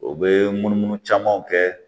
U bɛ munumunu camanw kɛ